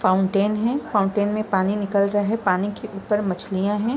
Fountain है fountain में पानी निकल रहा हैं पानी के ऊपर मछलियां है।